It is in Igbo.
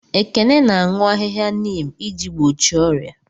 Ekene na-aṅụ ahịhịa neem iji gbochie ọrịa.